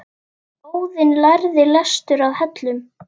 Óðinn lærði lestur að Hellum.